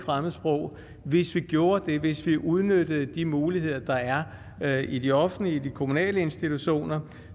sprog hvis vi gjorde det hvis vi udnyttede de muligheder der er er i de offentlige de kommunale institutioner